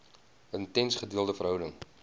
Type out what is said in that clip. intense gedeelde verhouding